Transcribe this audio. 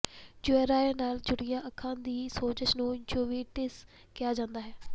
JRA ਨਾਲ ਜੁੜੀਆਂ ਅੱਖਾਂ ਦੀ ਸੋਜਸ਼ ਨੂੰ ਯੂਵੇਟਿਸ ਕਿਹਾ ਜਾਂਦਾ ਹੈ